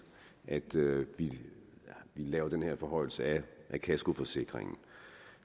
at vi laver den her forhøjelse af kaskoforsikringen